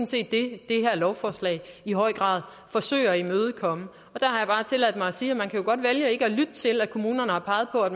set det det her lovforslag i høj grad forsøger at imødekomme og der har jeg bare tilladt mig at sige at man jo godt kan vælge ikke at lytte til at kommunerne har peget på at